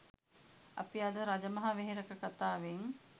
අපි අද රජමහ වෙහෙරක කතාවෙන්